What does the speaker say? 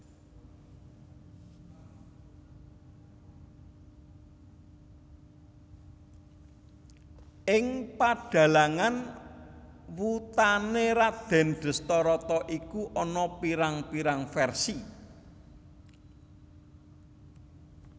Ing padhalangan wutané Radèn Dhestharata iku ana pirang pirang versi